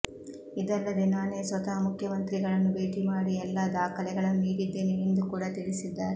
ಇದಲ್ಲದೇ ನಾನೇ ಸ್ವತಃ ಮುಖ್ಯಮಂತ್ರಿಗಳನ್ನು ಭೇಟಿ ಮಾಡಿ ಎಲ್ಲಾ ದಾಖಲೆಗಳನ್ನು ನೀಡಿದ್ದೇನೆ ಎಂದು ಕೂಡ ತಿಳಿಸಿದ್ದಾರೆ